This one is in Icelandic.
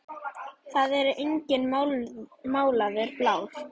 Það er enginn málaður blár.